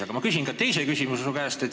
Aga ma küsin ka teise küsimuse.